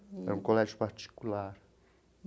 Era um colégio particular.